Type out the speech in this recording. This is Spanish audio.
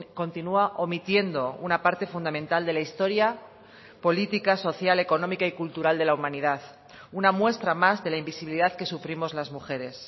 continua omitiendo una parte fundamental de la historia política social económica y cultural de la humanidad una muestra más de la invisibilidad que sufrimos las mujeres